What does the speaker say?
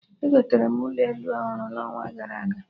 Egotere m ụlọ elu ọhụrụ n'ọnwa gara aga